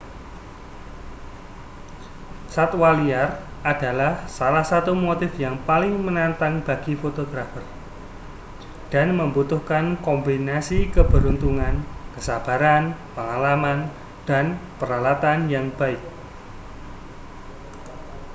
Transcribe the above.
satwa liar adalah salah satu motif yang paling menantang bagi fotografer dan membutuhkan kombinasi keberuntungan kesabaran pengalaman dan peralatan yang baik